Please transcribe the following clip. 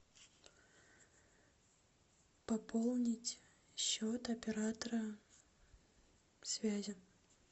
пополнить счет оператора связи